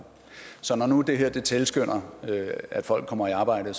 så når nu det her tilskynder at folk kommer i arbejde